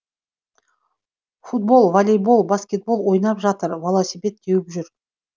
футбол волейбол баскетбол ойнап жатыр теуіп жүр